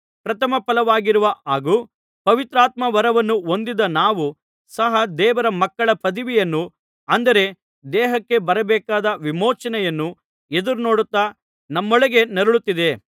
ಪ್ರಥಮ ಫಲವಾಗಿರುವ ಹಾಗೂ ಪವಿತ್ರಾತ್ಮವರವನ್ನು ಹೊಂದಿದ ನಾವೂ ಸಹ ದೇವರ ಮಕ್ಕಳ ಪದವಿಯನ್ನು ಅಂದರೆ ದೇಹಕ್ಕೆ ಬರಬೇಕಾದ ವಿಮೋಚನೆಯನ್ನು ಎದುರುನೋಡುತ್ತಾ ನಮ್ಮೊಳಗೆ ನರಳುತ್ತಿದ್ದೇ